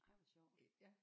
Ej hvor sjovt